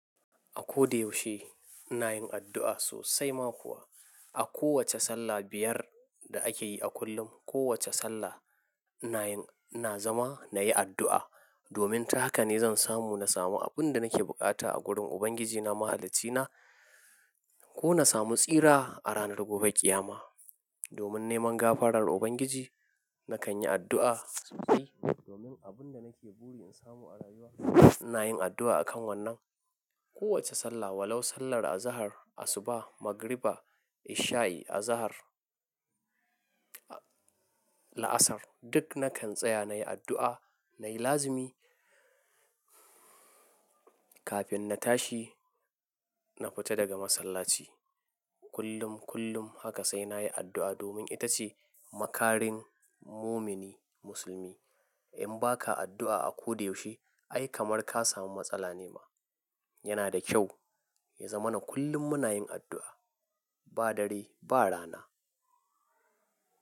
A ko da yaushe ina yin addu'a sosai ma kuwa. A kowace sallah biyar da akeyi a kullum. Kowace sallah ina yin, ina zama nayi addu'a. Domin ta haka ne zan samu, na samu abin da nake buƙata a gurin Ubangiji na, Mahalicci na. Ko na samu tsira a ranar gobe ƙiyama domin neman gafarar Ubangiji nakan yi addu'a sosai. Domin abun da nake buri in samu a rayuwa ina yin addu'a a kan wannan. Kowace sallah, walau sallar azahar, asuba, magriba, isha'i, azahar, la'asar duk nakan tsaya nayi addu'a nai lazimi kafin na tashi, na fita daga masallaci. Kullum, kullum haka sai nayi addu'a domin ita ce makarin mumini musulmi. In baka addu'a a ko da yaushe ai kamar ka samu matsala ne ma. Yana da kyau ya zama na kullum muna yin addu'a. Ba dare ba rana.